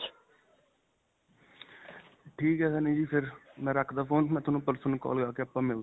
ਠੀਕ ਹੈ, ਸੰਨੀ ਜੀ. ਫਿਰ ਮੈਂ ਰੱਖਦਾ phone ਮੈਂ ਤੁਹਾਨੂੰ ਪਰਸੋਂ ਨੂੰ ਕਾੱਲ ਕਰਦਾਂ ਫਿਰ ਆਪਾਂ ਮਿਲਦੇ ਹਾਂ.